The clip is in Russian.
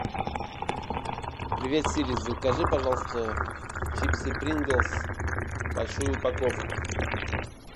привет сири закажи пожалуйста чипсы принглс большую упаковку